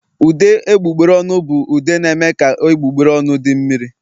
Ude egbugbere ọnụ bụ ude na-eme ka egbugbere ọnụ di mmiri